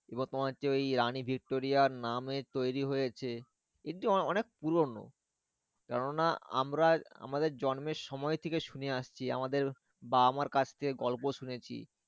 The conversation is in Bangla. এবার তোমার হচ্ছে ওই রানী ভিক্টোরিয়ার নামে তৈরী হয়েছে। এটি অনেক পুরোনো কেন না আমরা আমাদের জন্মের সময় থেকে শুনে আসছি আমাদের বাবা মায়ের কাছ থেকে গল্প শুনেছি।